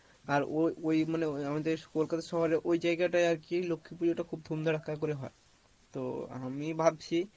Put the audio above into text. আর ও ওই মানে আমাদের কলকাতা শহরে ওই জায়গা টাই আর কি লক্ষ্মী পূজো টা খুব ধুম ধারাককা করে হয়, তো আমি ভাবছি